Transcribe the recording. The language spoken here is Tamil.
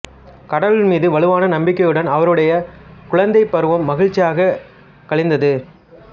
கடவுள் மீது வலுவான நம்பிக்கையுடன் அவருடைய குழந்தைப்பருவம் மகிழ்ச்சியான கழிந்தது